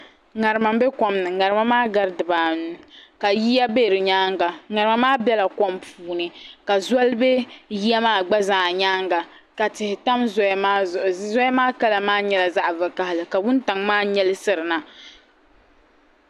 Ŋarima bɛ kom ni ŋarima maa gari diba anu ka yiya bɛ di yɛanga ŋarima maa bɛla kom puuni ka zoli bɛ yiya maa gba zaa yɛanga ka tihi tam zoya maa zuɣu zoya maa kala maa yɛla zaɣi vakahali ka wuntaŋ maa nyɛɛ na.